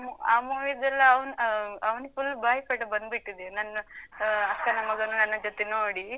ಆ mo~ movie ದ್ದೆಲ್ಲ ಅ ಅವ್~ ಅವ್ನಿಗ್ full ಬಾಯಿಪಾಠ ಬಂದ್ಬಿಟ್ಟಿದೆ. ನನ್ನ ಆ ಅಕ್ಕನ ಮಗನೂ ನನ್ನ ಜೊತೆ ನೋಡಿ.